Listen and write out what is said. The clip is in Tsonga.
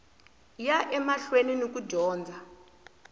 ya emahlweni ni ku dyondza